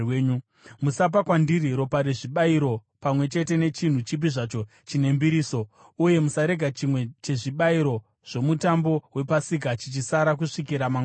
“Musapa kwandiri ropa rezvibayiro pamwe chete nechinhu chipi zvacho chine mbiriso, uye musarega chimwe chezvibayiro zvoMutambo wePasika chichisara kusvikira mangwanani.